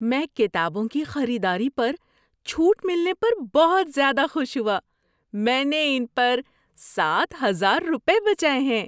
میں کتابوں کی خریداری پر چھوٹ ملنے پر بہت زیادہ خوش ہوا۔ میں نے ان پر سات ہزار روپے بچائے ہیں!